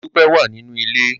Modúpẹ́ wà nínú ilé.